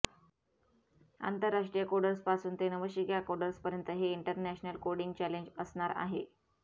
आंतरराष्ट्रीय कोडर्सपासून ते नवशिक्या कोडर्सपर्यंत हे इंटरनॅशनल कोडिंग चॅलेंज असणार आहे